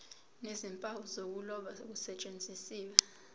nezimpawu zokuloba kusetshenziswe